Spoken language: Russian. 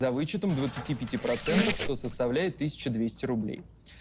за вычетом двадцати пяти процентов что составляет тысяча двести рублей